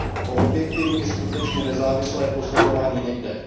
O objektivní, skutečně nezávislé posuzování nejde.